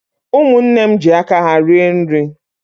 Umunne m ji aka ha rie nri